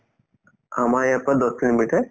আমাৰ ইয়াৰ পৰা দহ kilometre